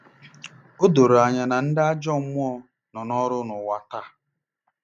O doro anya na ndị ajọ mmụọ nọ n’ọrụ n’ụwa taa.